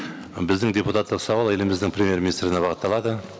біздің депутаттық сауал еліміздің премьер министріне бағытталады